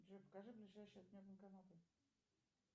джой покажи ближайшие от меня банкоматы